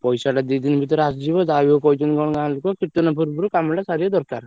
ପଇସା ଟା ଦି ଦିନ ଭିତରେ ଆସିଯିବ ଯାହା ବି ହଉ କହିଛନ୍ତି କଣ ଗାଁ ଲୋକ କୀର୍ତନ ପୂର୍ବରୁ କାମ ଟା ସାରିବା ଦରକାର।